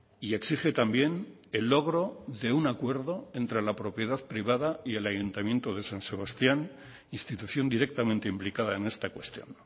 y exige también el logro de un acuerdo entre la propiedad privada y el ayuntamiento de san sebastián institución directamente implicada en esta cuestión